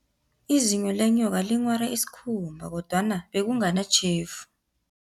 Izinyo lenyoka linghware isikhumba, kodwana bekunganatjhefu.